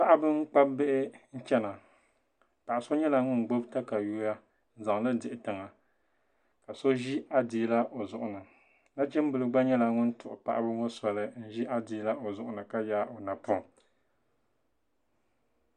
Paɣaba n kpabi bihi chɛna paɣa so nyɛla ŋun gbubi katawiya n zaŋli dihi daɣu ka so ʒi adiila o zuɣu ni nachimbili gba nyɛla ŋun tuhi paɣaba ŋɔ sɔli n ʒi adiila o zuɣu ni ka yaagi o napoŋ